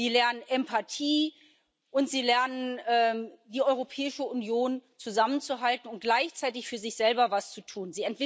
Sie lernen Empathie, und sie lernen, die Europäische Union zusammenzuhalten und gleichzeitig für sich selber etwas zu tun.